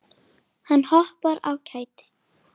Hann hoppar af kæti.